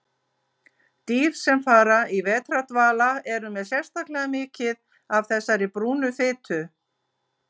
Dýr sem fara í vetrardvala eru með sérstaklega mikið af þessari brúnu fitu.